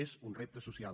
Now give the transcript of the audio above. és un repte social